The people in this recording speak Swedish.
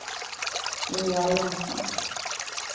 Ingvar Jonsson